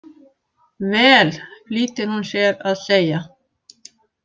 Vel, flýtir hún sér að segja.